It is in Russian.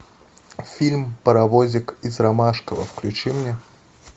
фильм паровозик из ромашково включи мне